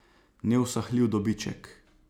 Neusahljiv dobiček.